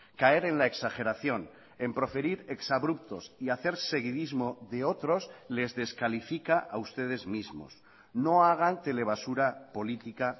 caer en la exageración en proferir exabruptos y hacer seguidismo de otros les descalifica a ustedes mismos no hagan telebasura política